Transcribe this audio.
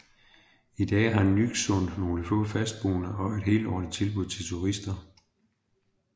I dag har Nyksund nogle få fastboende og et helårlig tilbud til turister